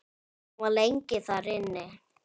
Hann var lengi þar inni.